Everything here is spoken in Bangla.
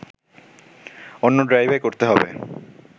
অন্য ড্রাইভে করতে হবে